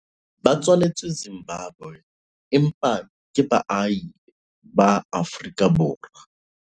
ba tswaletswe Zimbabwe empa ke baahi ba Aforikaborwa